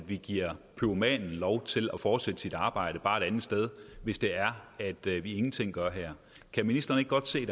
vi giver pyromanen lov til at fortsætte sit arbejde bare et andet sted hvis det er at vi ingenting gør her kan ministeren ikke godt se